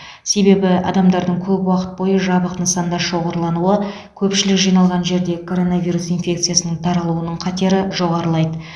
себебі адамдардың көп уақыт бойы жабық нысанда шоғырлануы көпшілік жиналған жерде коронавирус инфекциясының таралуының қатері жоғарылайды